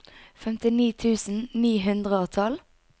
femtini tusen ni hundre og tolv